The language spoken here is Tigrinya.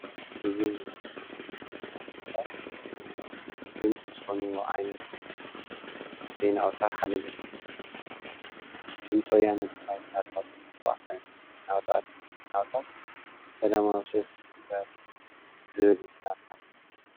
እዚ ናይ ህዝቢ ድምፂ ዝኮነ ዓይነት ዜና ቁፅሪ ሓደ ኮይኑ፤ ድምፂ ወያነ ትግራይ አብ ኩለን ናቁጣታት ሰላማዊ ሰልፊ ተመዛበልቲ ዝብል ዘርኢ እዩ፡፡